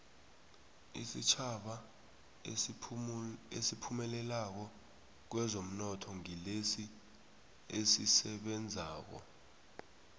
isitjhaba esiphumelelako kwezomnotho ngilesi esisebenzako